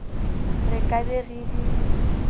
re ka be re di